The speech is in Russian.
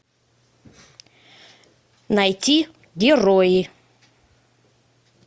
найти герои